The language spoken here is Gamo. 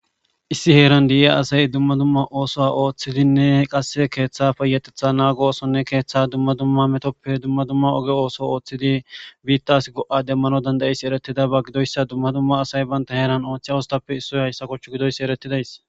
Issi heeran di'iya asay dumma dumma ooso ooththidinne qasse keeththafeyatetha naagosonne keeththa dumma dumma metoppe dumma dumma oge ooso ooththidi biittas go'a demmano dandayis eretida ba gidoyssa dumma dumma asay banta heeran ooththiy wostappe issoy hayssa kochchu gidoyssi eretidays.